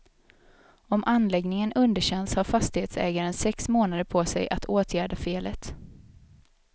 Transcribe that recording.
Om anläggningen underkänns har fastighetsägaren sex månader på sig att åtgärda felet.